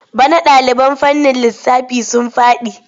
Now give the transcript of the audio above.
Bana ɗaliban fannin lissafi sun faɗi.